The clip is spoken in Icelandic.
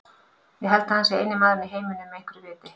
Ég held að hann sé eini maðurinn í heiminum með einhverju viti.